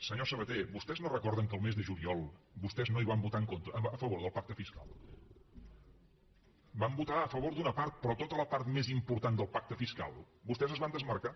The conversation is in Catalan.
senyor sabaté vostès no recorden que el mes de juliol vostès no hi van votar a favor del pacte fiscal van votar a favor d’una part però en tota la part més important del pacte fiscal vostès es van demarcar